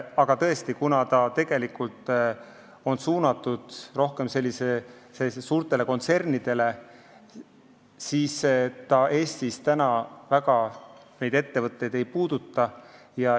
Aga kuna eelnõu on suunatud suurtele kontsernidele, siis ta Eestis väga paljusid ettevõtteid ei puuduta.